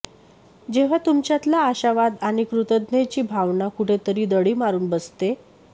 जेव्हा तुमच्यातला आशावाद आणि कृतज्ञतेची भावना कुठेतरी दडी मारून बसते